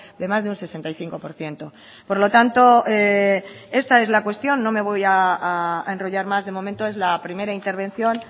de más de un sesenta y cinco por ciento por lo tanto esta es la cuestión no me voy a enrollar más de momento es la primera intervención